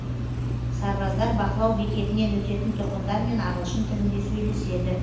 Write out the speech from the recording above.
сарбаздар бақылау бекетінен өтетін тұрғындармен ағылшын тілінде сөйлеседі